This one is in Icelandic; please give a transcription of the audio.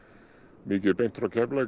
mikið beint frá Keflavík